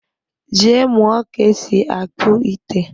Jee mụọ ka-esi akpụ ite!